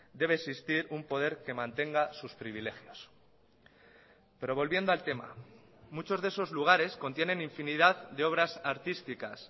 debe existir un poder que mantenga sus privilegios pero volviendo al tema muchos de esos lugares contienen infinidad de obras artísticas